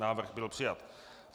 Návrh byl přijat.